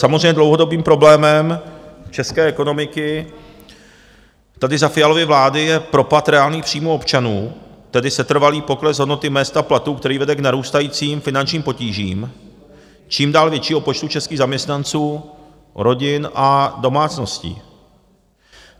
Samozřejmě dlouhodobým problémem české ekonomiky tady za Fialovy vlády je propad reálných příjmů občanů, tedy setrvalý pokles hodnoty mezd a platů, který vede k narůstajícím finančním potížím čím dál většího počtu českých zaměstnanců, rodin a domácností.